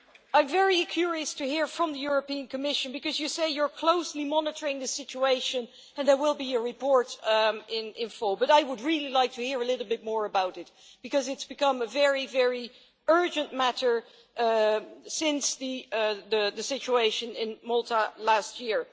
I'm very curious to hear from the European Commission, because you say you are closely monitoring the situation and there will be a report in full, but I really would like to hear a little bit more about it, because it's become a very, very urgent matter since the situation in Malta last year.